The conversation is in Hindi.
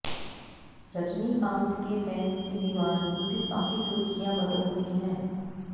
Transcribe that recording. रजनीकांत के फैंस की दीवानगी भी काफी सुर्खियां बटोरती है